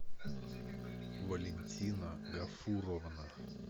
валентина ляфуровна